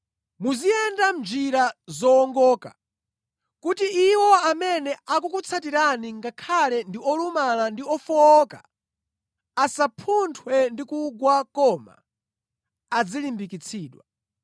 Muziyenda mʼnjira zowongoka, kuti iwo amene akukutsatirani ngakhale ndi olumala ndi ofowoka asapunthwe ndi kugwa koma adzilimbikitsidwa.